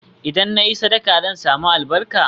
Idan na yi sadaka, zan sami albarka?